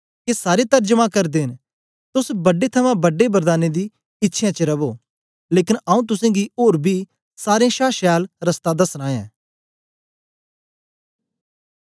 के सारे तरजमा करदे न तोस बड्डे थमां बड्डे वरदानें दी इच्छ्यां च रवो लेकन आऊँ तुसेंगी ओर बी सारें शा छैल रस्ता दसना ऐं